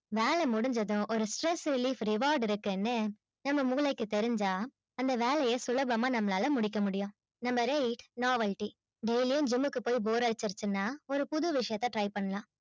வேலை முடிஞ்சதும் ஒரு stress relief reward இருக்குன்னு நம்ம மூளைக்கு தெரிஞ்சா அந்த வேலையை சுலபமா நம்மளால முடிக்க முடியும் number eight novelty daily யும் gym க்கு போய் bore அடிச்சிருச்சுன்னா ஒரு புது விஷயத்த try பண்ணலாம்